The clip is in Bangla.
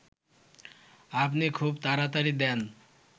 আপনি খুব তাড়াতাড়ি দেন